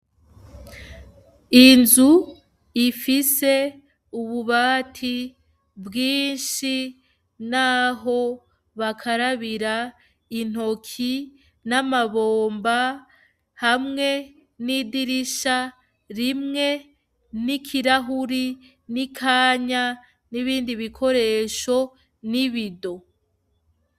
Inzu ifise ububati bwinshi naho bakarabira intoki n'amabomba, hamwe n'idirisha rimwe, n'ikirahure n'ikanya n'ibindi bikoresho n'ibido.